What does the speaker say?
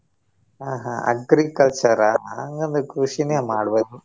ಆ ಹಾ agriculture ಆ ಹಂಗ ಅಂದ್ರೆ ಕೃಷಿನೆ ಮಾಡ್ಬಹುದು.